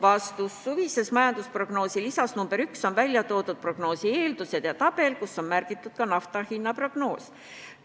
Vastus: suvise majandusprognoosi lisas nr 1 on välja toodud prognoosi eeldused ja tabel, kus on kirjas ka nafta hinna prognoos.